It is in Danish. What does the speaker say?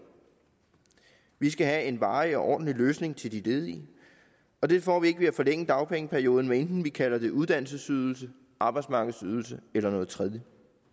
vi skal have en varig og ordentlig løsning til de ledige og det får vi ikke ved at forlænge dagpengeperioden hvad enten vi kalder det en uddannelsesydelse arbejdsmarkedsydelse eller noget tredje